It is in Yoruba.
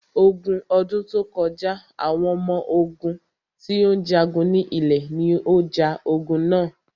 Ogun ọdún tó kọjá, àwọn ọmọ ogún tí ó ń jagun ní ilẹ̀ ní o ja ogun na.